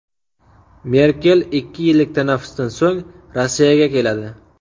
Merkel ikki yillik tanaffusdan so‘ng Rossiyaga keladi.